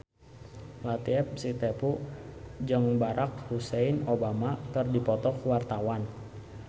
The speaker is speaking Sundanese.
Latief Sitepu jeung Barack Hussein Obama keur dipoto ku wartawan